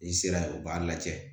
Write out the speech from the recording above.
N'i sera yen u b'a lajɛ